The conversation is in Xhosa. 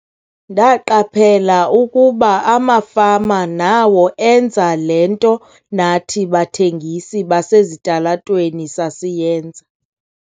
"Ndaqaphela ukuba amafama nawo enza le nto nathi bathengisi basezitalatweni sasiyenza."